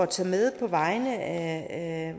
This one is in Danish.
tage med på vegne af